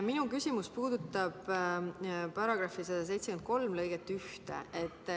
Minu küsimus puudutab § 1731.